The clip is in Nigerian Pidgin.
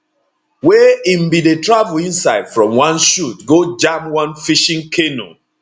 wey im bin dey travel inside from one shoot go jam one fishing canoe